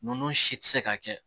Ninnu si tɛ se ka kɛ